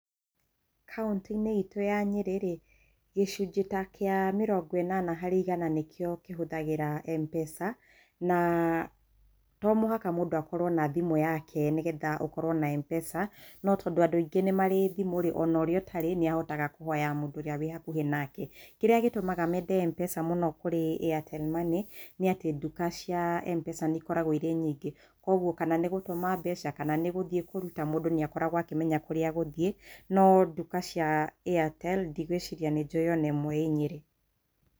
Kaũntĩ-inĩ itũ ya Nyeri rĩ, gĩcunjĩ ta kĩa mĩrongo ĩnana harĩ igana nĩkĩo kĩhũthagĩra M-Pesa, na to mũhaka mũndũ akorwo na thimũ yake nĩgetha ũkorwo na M-Pesa. No tondũ andũ aingĩ nĩ marĩ thimũ rĩ, o na ũrĩ ũtarĩ nĩ ahotaga kũhoya mũndũ ũrĩa wĩ hakuhĩ nake. Kĩrĩa gĩtũmaga meende M-Pesa mũno kũrĩ Airtel Money, nĩ atĩ nduka cia M-Pesa nĩ ikoragwo irĩ nyingĩ. Kwoguo kana nĩ gũtũma mbeca, kana nĩ gũthiĩ kũruta, mũndũ nĩ akoragwo akĩmenya kũrĩa egũthiĩ, no nduka cia Airtel, ndigũĩciria nĩ njũĩ o na ĩmwe ĩ Nyeri.